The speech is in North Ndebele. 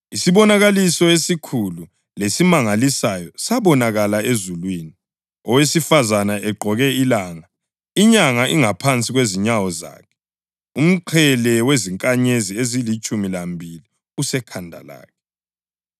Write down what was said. Isibonakaliso esikhulu lesimangalisayo sabonakala ezulwini: owesifazane egqoke ilanga, inyanga ingaphansi kwezinyawo zakhe, umqhele wezinkanyezi ezilitshumi lambili usekhanda lakhe.